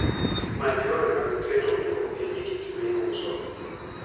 Many yore mag keto nengo piny e gik miuso.